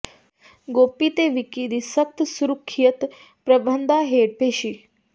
ਗੋਪੀ ਤੇ ਵਿੱਕੀ ਦੀ ਸਖ਼ਤ ਸੁਰੱਖਿਆ ਪ੍ਰਬੰਧਾਂ ਹੇਠ ਪੇਸ਼ੀ